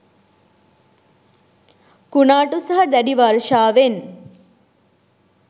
කුණාටු සහ දැඩි වර්ෂාවෙන්